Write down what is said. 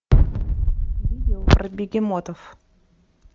видео про бегемотов